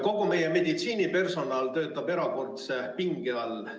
Kogu meie meditsiinipersonal töötab erakordse pinge all.